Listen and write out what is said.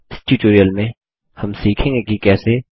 इस ट्यूटोरियल में हम सीखेंगे कि कैसे